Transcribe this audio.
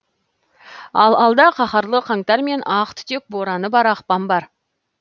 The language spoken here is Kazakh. ал алда қаһарлы қаңтар мен ақ түтек бораны бар ақпан бар